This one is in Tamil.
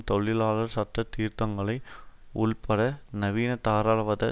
தொழிலாளர் சட்ட சீர்தீர்த்தங்களை உள்பட நவீனதாராளவாத